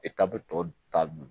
bɛ tɔ nunnu